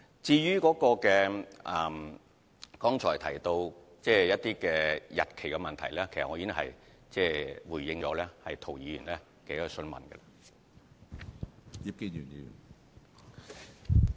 至於剛才提到有關日期的問題，我在回答涂議員的補充質詢時已作回應。